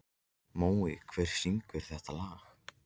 Mói, hver syngur þetta lag?